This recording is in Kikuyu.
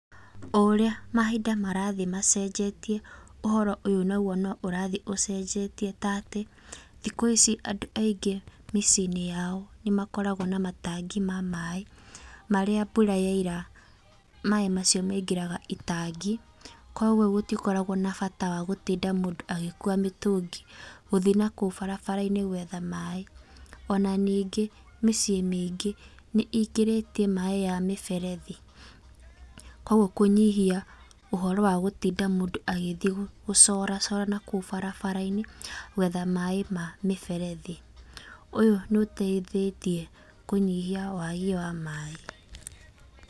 O ũrĩa mahinda marathiĩ macenjetie, ũhoro ũyũ naguo no ũrathiĩ ũcenjetie ta atĩ, thikũ ici andũ aingĩ mĩciĩ-inĩ yao, nĩmakoragũo na matangi ma maĩ, marĩa mbura yaura, maĩ macio maingĩraga itangi, kuoguo gũtikoragwo na bata wa gũtinda mũndũ agĩkua mĩtũngi, gũthiĩ nakũu barabara-inĩ gwetha maĩ. Ona ningĩ mĩciĩ mĩingĩ nĩĩingĩrĩtie maĩ ya mĩberethi. Kuoguo kũnyihia ũhoro wa gũtinda mũndũ agĩthiĩ gũcoracora nakũu barabara-inĩ gwetha maĩ ma mĩberethi. Ũyũ nĩũteithĩtie kũnyihia wagi wa maĩ.